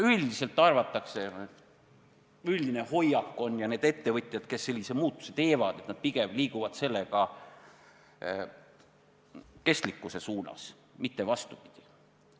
Üldine ettevõtjate hoiak on pigem liikuda kestlikkuse suunas, mitte vastupidi.